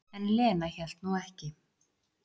En Lena hélt nú ekki.